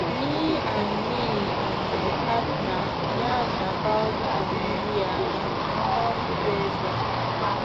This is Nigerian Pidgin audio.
me and me and my partner yarn about gonorrhea and we come closer